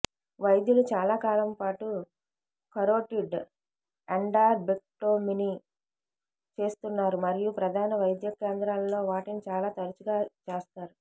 వైద్యులు చాలా కాలం పాటు కరోటిడ్ ఎండార్టెక్టొమీని చేస్తున్నారు మరియు ప్రధాన వైద్య కేంద్రాలలో వాటిని చాలా తరచుగా చేస్తారు